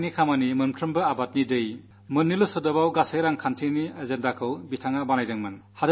എല്ലാ കൈകൾക്കും തൊഴിൽ എല്ലാ കൃഷിഭൂമിയിലും ജലം എന്നീ വാക്കുകൾ കൊണ്ട് സാമ്പത്തിക കാര്യപരിപാടി അദ്ദേഹം അവതരിപ്പിച്ചിരുന്നു